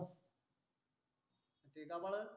ते गबाळ